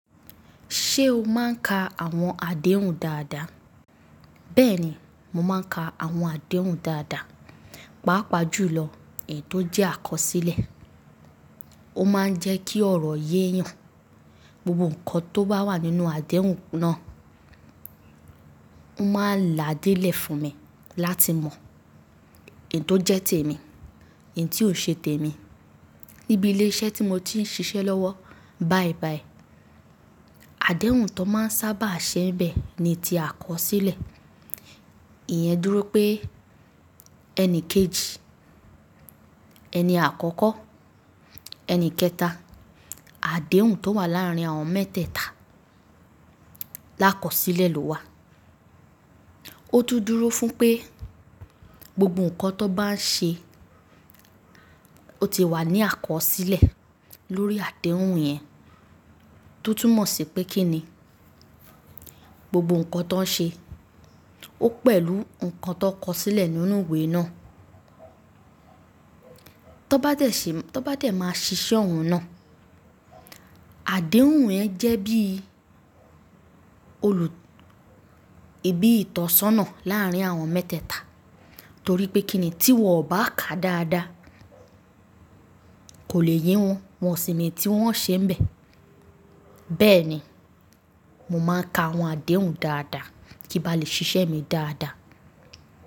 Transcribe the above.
Ṣé o máa ń ka àwọn àdéhùn dáadáa? Bẹ́ẹ̀ni, mo máa ń ka àwọn àdéhùn dáadáa. Pàápàá jù lọ èyi tò jẹ́ àkọsílẹ̀. Ó máa ń jẹ́ kí ọ̀rọ̀ yé yàn. Gbogbo ǹkan tó bá wà nínú àdéhùn náà, o máa n là dé lè fún mi láti mọ èyí tó jẹ́ tèmi, èyí ti ó ṣe tèmi. Níbi ilé iṣẹ́ tí mo ti ń ṣiṣẹ́ lọ́wọ́ bàìbàì, àdéhùn tó máa ń sábà ṣe ń bẹ ni ti àkọsílẹ̀. Ìyẹn dúró pé ẹni kejì, ẹni àkọ́kọ́, ẹni kẹta. Àdéhùn tó wà láàárín àwọn mẹ́tẹ́ẹ̀ta l'ákọsílẹ̀ ló wà. Ó tún dúró fún pé gbogbo ǹkan tó bá ń ṣe, ó ti wà ní àkọsílẹ̀ lórí àdéhùn yẹn. Ó tún mọ̀ sí pé kí ni gbogbo ǹkan tọ ń ṣe, ó pẹ̀lú ǹkan tọn kọsílẹ̀ nínú ìwé náà. Tán bá dẹ̀ máa ṣiṣẹ́ ọhun náà, àdéhùn yẹn jẹ́ bí itọ́sọ́nà láàárín àwọn mẹ́tẹ́ẹ̀ta. Torí pé kí ni tí wọn ò bá ka dáadáa, kò le ye wọn, wọ́n sì ni tí wọ́n o ṣe ń bẹ. Bẹ́ẹ̀ ni, mo máa ń ka àwọn àdéhùn dáadáa kí n bá lè ṣiṣẹ́ mi dáadáa.